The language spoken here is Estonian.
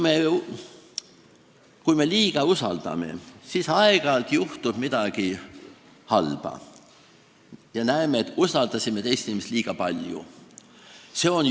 Kui me liiga palju usaldame, siis aeg-ajalt juhtub midagi halba ja me näeme, et me oleme teist inimest liiga palju usaldanud.